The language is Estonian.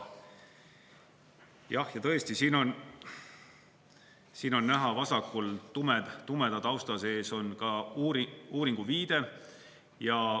Jah, tõesti, siin on näha vasakul, tumeda tausta sees on ka uuringu viide.